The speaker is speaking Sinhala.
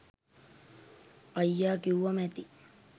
අයිය කිව්වම ඇති